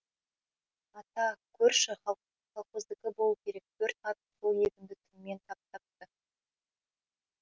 ата көрші колхоздікі болу керек төрт ат сол егінді түнімен таптапты